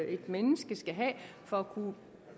et menneske skal have for at kunne